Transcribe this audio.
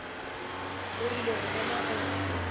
o rile go bona gore